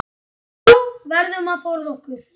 Við verðum að forða okkur.